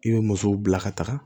I bɛ musow bila ka taga